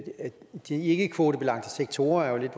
de ikkekvotebelagte sektorer lidt